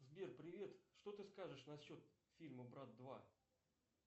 сбер привет что ты скажешь на счет фильма брат два